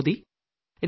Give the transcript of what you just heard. നന്ദി